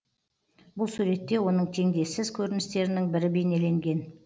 бұл суретте оның теңдессіз көріністерінің бірі бейнеленген